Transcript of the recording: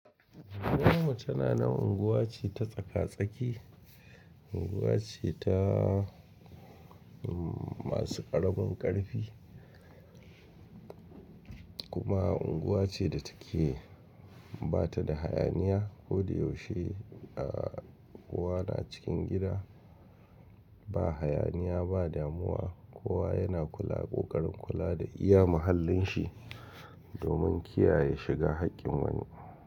Mah mace tana nan unguwa ce ta tsaka-tsaki, unguwa ce ta masu ƙaramin ƙarfi, kuma unguwa ce da take ba ta da hayaniya. Ko da yaushe a kowa na cikin gida ba hayaniya, ba damuwa, kowa yana ƙoƙarin kula da iya mahallin shi domin kiyaye shiga haƙƙin wani.